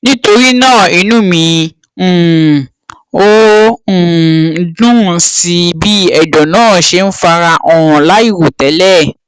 nítorí náà inú mi um ò um dùn sí bí ẹdọ náà ṣe ń fara hàn láìròtélẹ